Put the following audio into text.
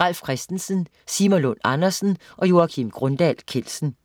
Ralf Christensen, Simon Lund Andersen og Joakim Grundahl Kjeldsen